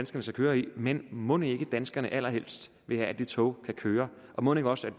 skal køre i men mon ikke danskerne allerhelst vil have at de tog kan køre og mon ikke også